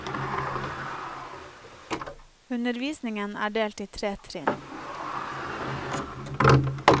Undervisningen er delt i tre trinn.